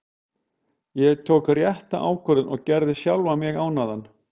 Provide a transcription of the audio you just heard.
Ég tók rétta ákvörðun og gerði sjálfan mig ánægðan.